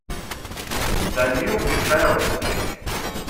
данил михайлович